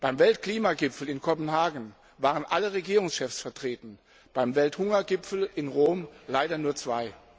Beim Weltklimagipfel in Kopenhagen waren alle Regierungschefs vertreten, beim Welthungergipfel in Rom leider nur zwei!